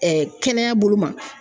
kɛnɛya bolo ma.